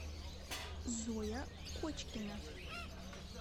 зоя кочкина